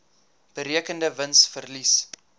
berekende wins verlies